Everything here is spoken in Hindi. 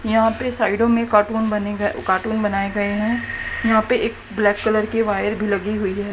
यहां पे साइडों में कार्टून बने गए कार्टून बनाए गए हैं यहां पे एक ब्लैक कलर के वायर भी लगी हुई है।